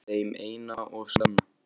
Þeim eina og sanna?